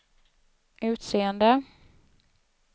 utseende